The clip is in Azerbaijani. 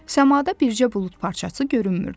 Səmada bircə bulud parçası görünmürdü.